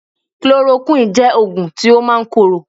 Chloroquine jẹ́ oògùn tí ó máa ń korò